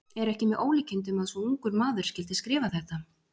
Er ekki með ólíkindum að svo ungur maður skyldi skrifa þetta?